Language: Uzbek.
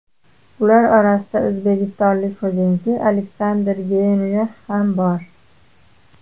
Ular orasida o‘zbekistonlik hujumchi Aleksandr Geynrix ham bor.